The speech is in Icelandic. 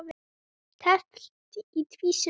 Teflt í tvísýnu